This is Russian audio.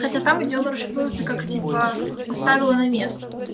хотя там где он расшифруется как типа поставила на место